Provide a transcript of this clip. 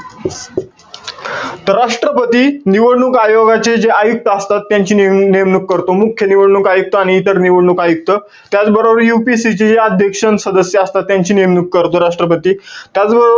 तर राष्ट्रपती, निवडणूक आयोगाचे जे आयुक्त असतात, त्यांची नेम~ नेमणूक करतो. मुख्य निवडणूक आयुक्त आणि इतर निवडणूक आयुक्त. त्याचबरोबर UPSC जे अध्यक्ष अन सदस्य असतात. त्यांची नेमणूक करतो, राष्ट्रपती. त्याचबरोबर,